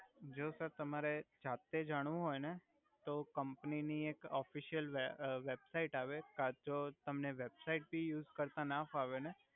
જો સર તમારે જાતે જાણવુ હોય ને તો કમ્પની ની એક ઓફિસિયલ વેબ અ વેબસાઈટ આવે કા તો તમને વેબસાઈટ પન યુસ કરતા ના ફાવે ને